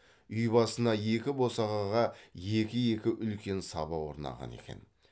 үй басына екі босағаға екі екі үлкен саба орнаған екен